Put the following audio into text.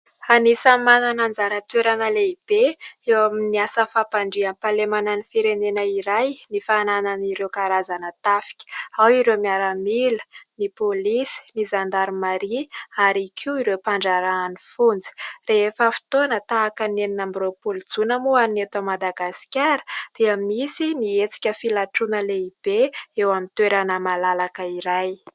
Anisany manana anjara toerana lehibe eo amin'ny asa fampandriam-pahalemana ny firenena iray ny fananany ireo karazana tafika. Ao ireo miaramila, ny pôlisy, ny zandarimaria ary koa ireo mpandraharahan'ny fonja. Rehefa fotoana tahaka ny enina amby roapolo jona moa ho an'ny eto Madagasikara dia misy hetsika filatroana lehibe eo amin'ny toerana malalaka iray.